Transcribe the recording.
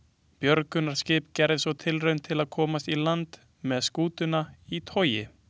Björgunarskip gerði svo tilraun til að komast í land með skútuna í togi.